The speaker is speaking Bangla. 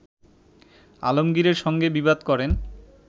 আলমগীরের সঙ্গে বিবাদ করেন